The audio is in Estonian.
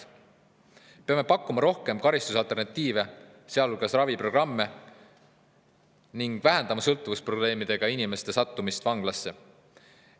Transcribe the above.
Peame pakkuma rohkem karistusalternatiive, sealhulgas raviprogramme, ning vähendama sõltuvusprobleemidega inimeste sattumist vanglasse.